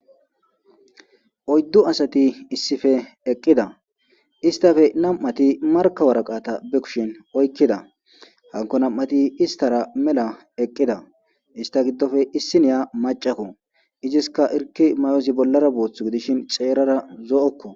Oyddu asati issippe eqqida isttappe nam7ati markka waraqaata be kushen oykkida hankko nam7ati isttara mela eqqida istta giddoppe issiniya maccakko iziska hirkki mayozi bollara boothu gidishin xeerara zo7okko